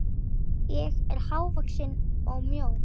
Ég var hávaxin og mjó.